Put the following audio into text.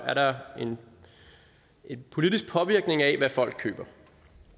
er der en politisk påvirkning af hvad folk køber